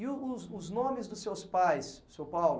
E o os os nomes dos seus pais, seu Paulo?